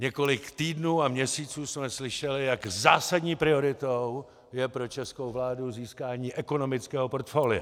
Několik týdnů a měsíců jsme slyšeli, jak zásadní prioritou je pro českou vládu získání ekonomického portfolia.